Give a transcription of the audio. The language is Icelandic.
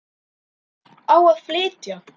En hvert á að flytja?